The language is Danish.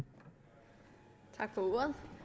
ordet